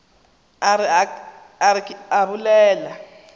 a re ke a bolela